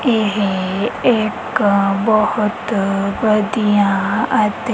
ਇਹ ਇੱਕ ਬਹੁਤ ਵਧੀਆ ਅਤੇ--